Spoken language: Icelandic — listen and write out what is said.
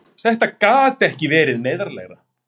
Þetta gat ekki verið neyðarlegra!